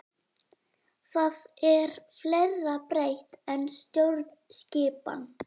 Það er fleira breytt en stjórnskipan.